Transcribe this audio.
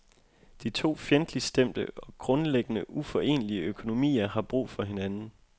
De to fjendtligt stemte og grundlæggende uforenlige økonomier har brug for hinanden.